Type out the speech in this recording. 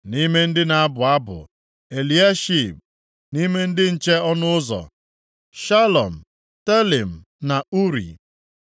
Nʼime ndị na-abụ abụ, Eliashib. Nʼime ndị nche ọnụ ụzọ: Shalum, Telem, na Uri.